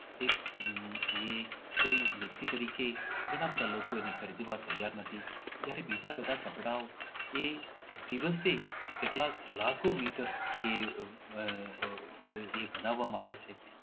એ આહ આહ કોઈ વ્યક્તિ તરીકે ઘણા બધા લોકો ને ખરીદવા તૈયાર નથી જયારે બીજા બધા કપડાઓ એ દિવસે કેટલા લાખો મીટર આહ આહ એ બનાવવામાં આવે છે